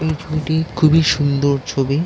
এই ছবিটি খুবই সুন্দর ছবি।